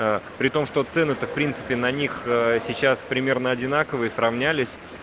при том что цены то в принципе на них сейчас примерно одинаковые сравнялись